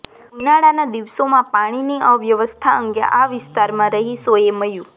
ઉનાળાના દિવસોમાં પાણીની અવ્યવસ્થા અંગે આ વિસ્તારના રહીશોએ મ્યુ